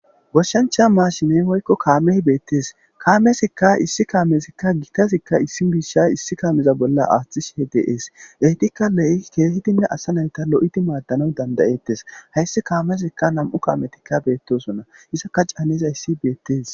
goshshancha maashimey hoykko kaameh beettes kaamezikka issi kaamezikka gitazikka issi bisha issi kaameza bolla aaththi shehe deees eetikka le7i keehidinne asa nayta lo7idi maaddanau dandayettes hayssi kaamezikka nam7u kaametikka beettosonna isaka caanes hayssi beettes